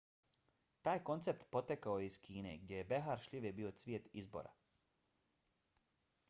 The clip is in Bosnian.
taj koncept potekao je iz kine gdje je behar šljive bio cvijet izbora